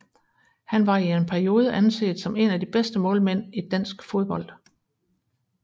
Han var i en periode anset som en af de bedste målmænd i dansk fodbold